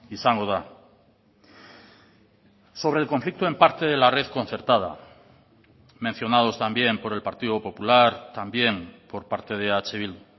izango da sobre el conflicto en parte de la red concertada mencionados también por el partido popular también por parte de eh bildu